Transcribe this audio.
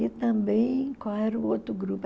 E também, qual era o outro grupo?